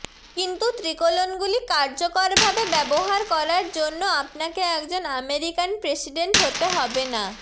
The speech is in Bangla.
কিন্তু ত্রিকোলোনগুলি কার্যকরভাবে ব্যবহার করার জন্য আপনাকে একজন আমেরিকান প্রেসিডেন্ট হতে হবে না